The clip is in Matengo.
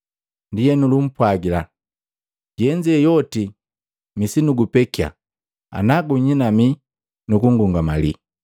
Ndienu lumpwagila, “Yenze yoti misinugupekia ana gunyinamii nu kungungamali.”